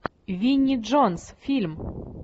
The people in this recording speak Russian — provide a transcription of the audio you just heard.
винни джонс фильм